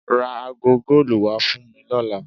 Ra aago góòlù wá fún mi lọ́la.